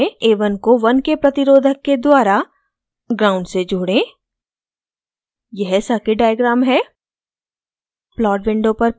उसी connection में a1 को 1k प्रतिरोधक के द्वारा gnd से जोड़ें यह circuit diagram है